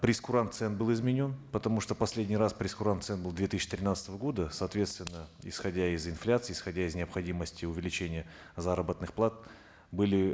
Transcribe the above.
прейскурант цен был изменен потому что последний раз прейскурант цен был две тысячи тринадцатого года соответственно исходя из инфляции исходя из необходимости увеличения заработных плат были